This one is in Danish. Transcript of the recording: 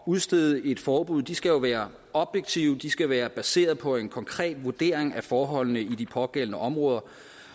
udstede et forbud skal være objektive de skal være baseret på en konkret vurdering af forholdene i de pågældende områder